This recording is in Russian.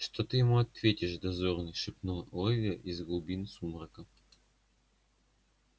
что ты ему ответишь дозорный шепнула ольга из глубин сумрака